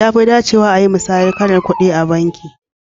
Ya fi dacewa ayi musayan kalar ƙudi a banki.